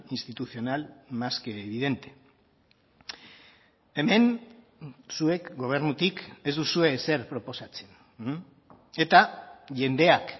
institucional más que evidente hemen zuek gobernutik ez duzue ezer proposatzen eta jendeak